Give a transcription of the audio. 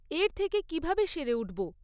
এর থেকে কীভাবে সেরে উঠব?